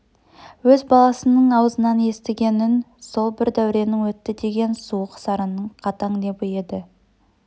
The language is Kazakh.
өз баласының аузынан естіген үн сол бір дәуренің өтті деген суық сарынның қатаң лебі еді